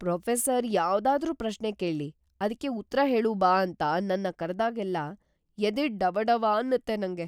Professor ಯಾವ್ದಾದ್ರೂ ಪ್ರಶ್ನೆ ಕೇಳಿ ಅದ್ಕೆ ಉತ್ರ ಹೇಳು ಬಾ ಅಂತ ನನ್ನ ಕರ್ದಾಗೆಲ್ಲ ಎದೆ ಡವಡವ ಅನ್ನತ್ತೆ ನಂಗೆ.